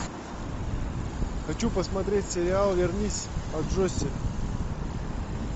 хочу посмотреть сериал вернись аджосси